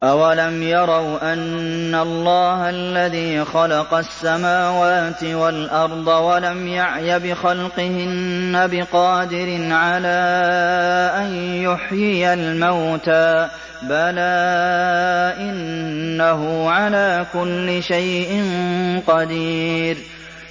أَوَلَمْ يَرَوْا أَنَّ اللَّهَ الَّذِي خَلَقَ السَّمَاوَاتِ وَالْأَرْضَ وَلَمْ يَعْيَ بِخَلْقِهِنَّ بِقَادِرٍ عَلَىٰ أَن يُحْيِيَ الْمَوْتَىٰ ۚ بَلَىٰ إِنَّهُ عَلَىٰ كُلِّ شَيْءٍ قَدِيرٌ